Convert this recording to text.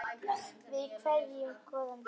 Við kveðjum góðan dreng.